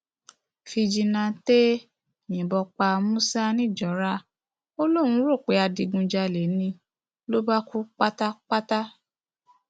fíjìnnàtẹ yìnbọn pa musa nìjọra ó lóun rò pé adigunjalè ni ló bá kú pátápátá